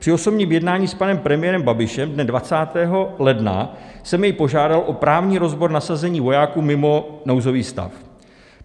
Při osobním jednání s panem premiérem Babišem dne 20. ledna jsem jej požádal o právní rozbor nasazení vojáků mimo nouzový stav.